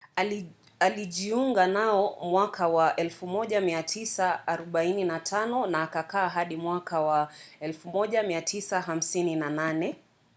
alijiunga nao mwaka wa 1945 na akakaa hadi mwaka wa 1958